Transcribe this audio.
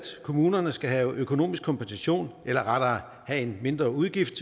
kommunerne skal have økonomisk kompensation eller rettere have en mindreudgift